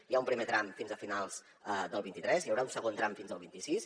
hi ha un primer tram fins a finals del vint tres i hi haurà un segon tram fins al vint sis